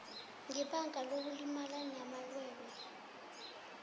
ngebanga lokulimala namalwelwe